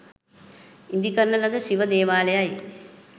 ඉදිකරන ලද ශිව දේවාලයයි.